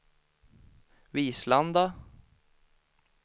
Vislanda